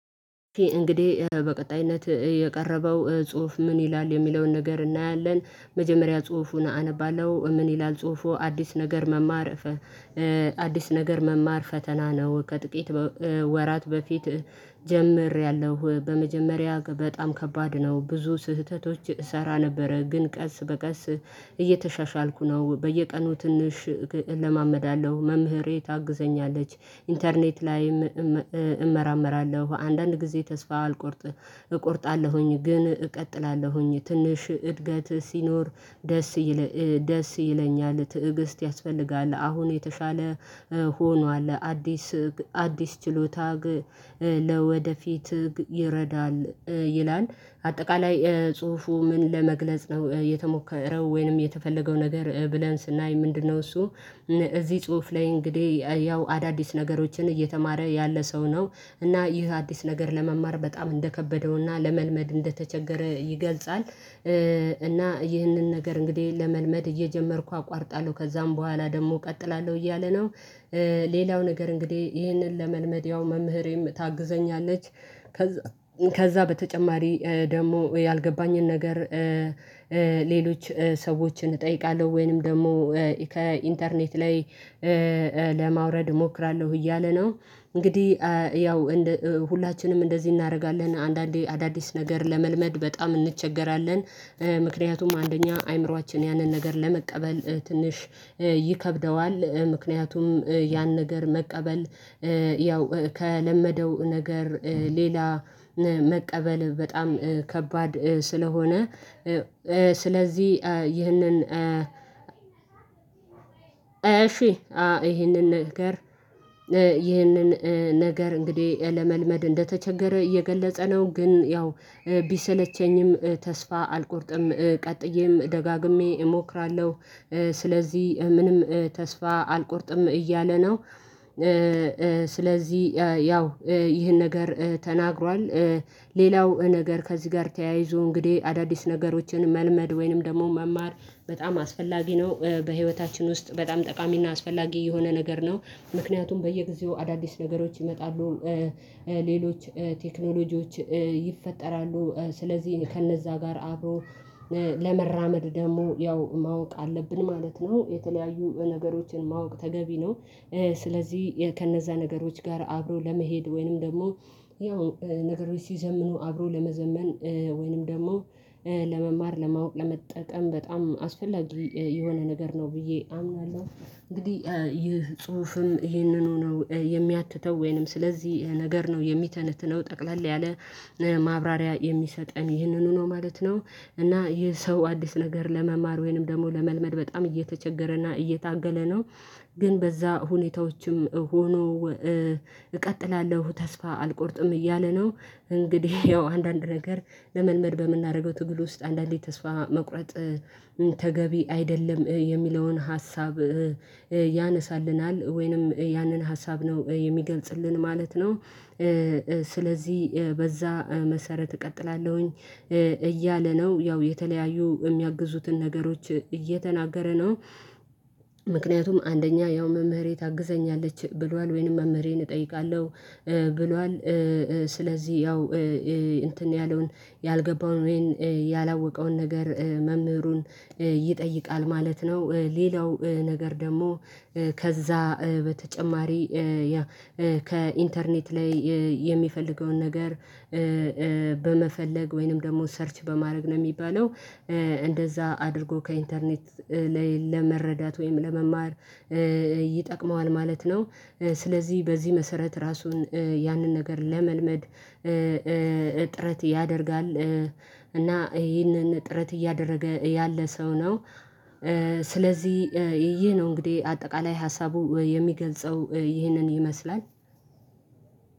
እንግዲህ በቀጣይነት የቀረበው ጽሁፍ ምን ይላል የሚለውን ነገር እናያለን። መጀመሪያ ጽሁፉን አነባለሁ ምን ይላል ጽሁፉ አዲስ ነገር መማር? አዲስ ነገር መማር ፈተና ነው። ከጥቂት ወራት በፊት ጀምሬያለሁ። በመጀመሪያ በጣም ከባድ ነው ብዙ ስህተቶች እሰራ ነበረ ግን ቀስ በቀስ እየተሻሻልኩ ነው። በየቀኑ ትንሽ እለማመዳለሁ መምህሬ ታግዘኛለች ኢንተርኔት ላይም እመራመራለሁ አንዳንድ ጊዜ ተስፋ አልቆርጥ እቆርጣለሁኝ ግን እቀጥላለሁኝ ትንሽ እድገት ሲኖር ደስ ይለኛል። ትዕግስት ያስፈልጋል አሁን የተሻለ ሆኗል አዲስ አዲስ ችሎታ ግ ለወደፊት ግ ይረዳል ይላል። አጠቃላይ ጽሁፉ ምን ለመግለጽ ነው የተሞከረው ወይንም የተፈለገው ነገር ብለን ስናይ ምንድነው እሱ? እዚህ ጽሁፍ ላይ እንግዲህ ያው አዳዲስ ነገሮችን እየተማረ ያለ ሰው ነው። እና ይህ አዲስ ነገር ለመማር በጣም እንደከበደውና ለመልመድ እንደተቸገረ ይገልጻል። እና ይህንን ነገር እንግዲህ ለመልመድ እየጀመርኩ አቋርጣለሁ ከዛም በኋላ ደግሞ እቀጥላለሁ እያለ ነው። ሌላው ነገር እንግዲህ ይሄንን ለመልመድ ያው መምህሬም ታግዘኛለች። ከዛ በተጨማሪ ደግሞ ያልገባኝን ነገር ሌሎች ሰዎችን እጠይቃለሁ ወይንም ደግሞ ከኢንተርኔት ላይ ለማውረድ እሞክራለሁ እያለ ነው። እንግዲህ ያው ሁላችንም እንደዚህ እናደርጋለን አንዳንዴ አዳዲስ ነገር ለመልመድ በጣም እንቸገራለን። ምክንያቱም አንደኛ አይምሮአችን ያንን ነገር ለመቀበል ትንሽ ይከብደዋል። ምክንያቱም ያን ነገር መቀበል ያው ከለመደው ነገር ሌላ መቀበል በጣም ከባድ ስለሆነ። ስለዚህ ይህንን እሺ ይህንን ነገር ይህንን ነገር እንግዲህ ለመልመድ እንደተቸገረ እየገለጸ ነው። ግን ያው ቢሰለቸኝም ተስፋ አልቆርጥም ቀጥዬም ደጋግሜ እሞክራለሁ። ስለዚህ ምንም ተስፋ አልቆርጥም እያለ ነው። ስለዚህ ያው ይህን ነገር ተናግሯል። ሌላው ነገር ከዚህ ጋር ተያይዞ እንግዲህ አዳዲስ ነገሮችን መልመድ ወይንም ደግሞ መማር በጣም አስፈላጊ ነው። በህይወታችን ውስጥ በጣም ጠቃሚና አስፈላጊ የሆነ ነገር ነው። ምክንያቱም በየጊዜው አዳዲስ ነገሮች ይመጣሉ ሌሎች ቴክኖሎጂዎች ይፈጠራሉ ስለዚህ ከእነዛ ጋር አብሮ ለመራመድ ደግሞ ያው ማወቅ አለብን ማለት ነው። የተለያዩ ነገሮችን ማወቅ ተገቢ ነው። ስለዚህ ከነዛ ነገሮች ጋር አብሮ ለመሄድ ወይንም ደግሞ ያው ነገሮች ሲዘምኑ አብሮ ለመዘመን ወይንም ደግሞ ለመማር ለማወቅ ለመጠቀም በጣም አስፈላጊ የሆነ ነገር ነው ብዬ አምናለሁ። እንግዲህ ይህ ጽሁፍም ይህንኑ ነው የሚያትተው ወይንም ስለዚህ ነገር ነው የሚተነትነው። ጠቅለል ያለ ማብራሪያ የሚሰጠን ይህንኑ ነው ማለት ነው። እና ይህ ሰው አዲስ ነገር ለመማር ወይንም ደግሞ ለመልመድ በጣም እየተቸገረና እየታገለ ነው። ግን በዛ ሁኔታዎችም ሆኖ እቀጥላለሁ ተስፋ አልቆርጥም እያለ ነው። እንግዲህ ያው አንዳንድ ነገር ለመልመድ በምናደርገው ትግል ውስጥ አንዳንዴ ተስፋ መቁረጥ ተገቢ አይደለም። የሚለውን ሀሳብ ያነሳልናል ወይንም ያንን ሀሳብ ነው የሚገልጽልን ማለት ነው። ስለዚህ በዛ መሰረት እቀጥላለሁኝ እያለ ነው ያው የተለያዩ እሚያግዙትን ነገሮች እየተናገረ ነው። ምክንያቱም አንደኛ ያው መምህሬ ታግዘኛለች ብሏል ወይንም መምህሬን እጠይቃለሁ ብሏል። ስለዚህ ያው እንትን ያለውን ያልገባውን ያላወቀውን ነገር መምህሩን ይጠይቃል ማለት ነው። ሌላው ነገር ደግሞ ከዛ በተጨማሪ ከኢንተርኔት ላይ የሚፈልገውን ነገር በመፈለግ ወይንም ደግሞ ሰርች በማድረግ ነው የሚባለው። እንደዛ አድርጎ ከኢንተርኔት ላይ ለመረዳት ወይም ለመማር ይጠቅመዋል ማለት ነው። ስለዚህ በዚህ መሰረት ራሱን ያንን ነገር ለመልመድ ጥረት ያደርጋል። እና ይሄንን ጥረት እያደረገ ያለ ሰው ነው። ስለዚህ ይህ ነው እንግዲህ አጠቃላይ ሀሳቡ የሚገልጸው ይህንን ይመስላል።